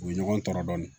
U ye ɲɔgɔn tɔɔrɔ dɔɔnin